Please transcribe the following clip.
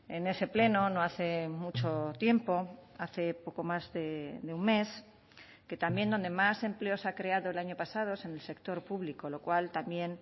en ese pleno no hace mucho tiempo hace poco más de un mes que también donde más empleo se ha creado el año pasado es en el sector público lo cual también